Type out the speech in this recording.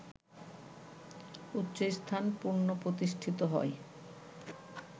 উচ্চস্থান পুনঃপ্রতিষ্ঠিত হয়